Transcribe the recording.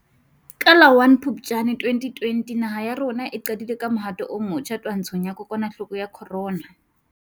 Ka la 01 Phuptjane 2020 naha ya rona e qadile ka mohato o motjha twantshong ya kokwanahloko ya corona.